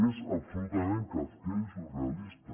és absolutament kafkià i surrealista